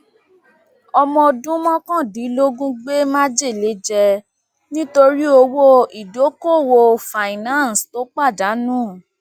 ọmọ ọdún mọkàndínlógún gbé májèlé jẹ nítorí owó ìdókoòwò finance tó pàdánù